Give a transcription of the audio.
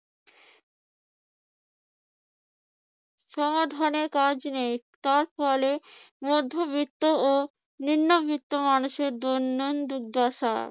সমাধানের কাজ নেই, তার ফলে মধ্যবিত্ত ও নিম্নবিত্ত মানুষের দৈনন্দিন দুর্দশা।